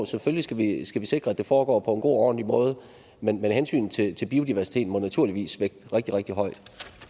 selvfølgelig skal sikre at det foregår på og ordentlig måde men hensynet til til biodiversiteten må naturligvis vægte rigtig rigtig højt